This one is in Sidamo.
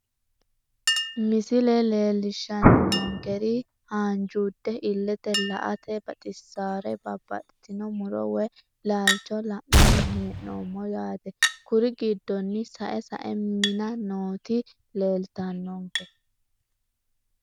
Misile leelishani noonkeri haanjuude illete la`ate baxisawore babaxitino muro woyi laalcho la`nani hee`nomo yaate kuri giddono sa`e sa`e mina nooti leltawonke.